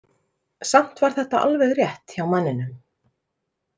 Samt var þetta alveg rétt hjá manninum.